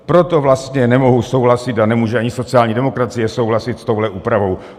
Proto vlastně nemohu souhlasit a nemůže ani sociální demokracie souhlasit s touhle úpravou.